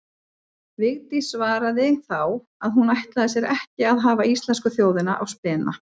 Vigdís svaraði þá að hún ætlaði sér ekki að hafa íslensku þjóðina á spena.